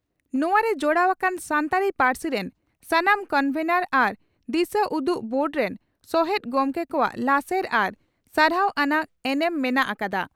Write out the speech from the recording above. ᱱᱚᱣᱟ ᱨᱮ ᱡᱚᱲᱟᱣ ᱟᱠᱟᱱ ᱥᱟᱱᱛᱟᱲᱤ ᱯᱟᱹᱨᱥᱤ ᱨᱮᱱ ᱥᱟᱱᱟᱢ ᱠᱚᱱᱵᱷᱮᱱᱚᱨ ᱟᱨ ᱫᱤᱥᱟᱹᱩᱫᱩᱜ ᱵᱳᱨᱰ ᱨᱮᱱ ᱥᱚᱦᱮᱛ ᱜᱚᱢᱠᱮ ᱠᱚᱣᱟᱜ ᱞᱟᱥᱮᱨ ᱟᱨ ᱥᱟᱨᱦᱟᱣ ᱟᱱᱟᱜ ᱮᱱᱮᱢ ᱢᱮᱱᱟᱜ ᱟᱠᱟᱫᱼᱟ ᱾